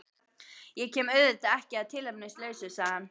Ég kem auðvitað ekki að tilefnislausu, sagði hann.